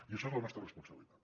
i això és la nostra responsabilitat